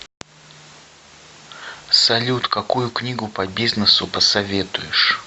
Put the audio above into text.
салют какую книгу по бизнесу посоветуешь